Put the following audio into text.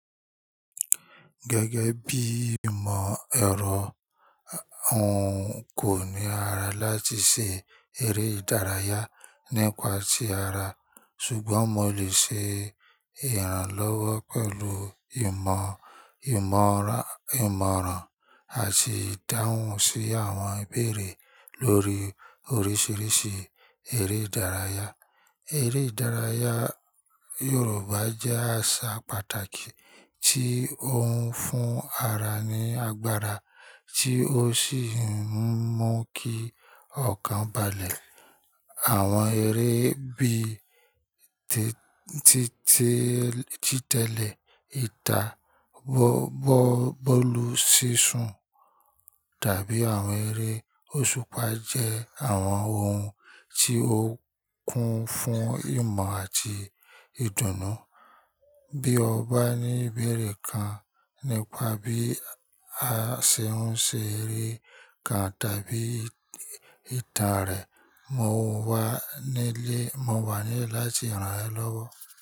Gẹ́gẹ́ bí ìmọ̀ ẹ̀rọ, ǹ kò ní ara láti ṣe eré ìdárayá nípa tí ara, ṣùgbọ́n mo lè ṣe ìrànlọ́wọ́ pẹ̀lú ìmọ̀, ìmọ̀ràn àti ìdáhùn sí àwọn ìbéèrè lórí oríṣiríṣi eré ìdárayá. Eré ìdárayá Yorùbá jẹ́ àṣà pàtàkì tí ó ń fún ara ní agbára tí ó sì ń mú kí ọkàn balẹ̀. Àwọn eré bíi títẹ̀lẹ̀ ìtà, bọ́ọ́lù sísun tàbí àwọn eré òṣùpá jẹ́ àwọn ohun tí ó kún fún ìmọ̀ àti ìdùnnú. Bí o bá ní ìbéèrè kan nípa bí a ṣe ń ṣe eré kan tàbí ìtàn rẹ̀, mo wà nílẹ̀ láti ràn ẹ́ lọ́wọ́.